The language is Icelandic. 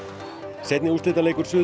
seinni úrslitaleikur Suður